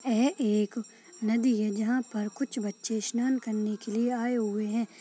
यह एक नदी है जहा पर कुछ बच्चे स्नान करने के लिए आए हुए है।